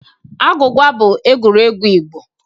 Agwụgwa bụ egwuregwu Igbo.